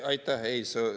Aitäh!